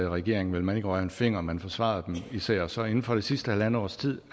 regering ville man ikke røre en finger man forsvarede dem især så inden for det sidste halvandet års tid